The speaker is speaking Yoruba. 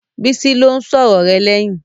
Bísí ló ń sọ̀rọ̀ rẹ lẹ́yìn.